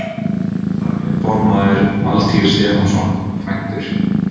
Þar er formaður Valtýr Stefánsson, kvæntur